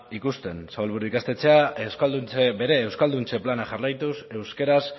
ikusten zabalburu ikastetxea bere euskalduntze plana jarraituz euskaraz